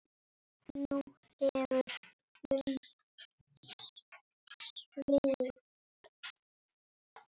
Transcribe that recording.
Nú hefur breytt um svip.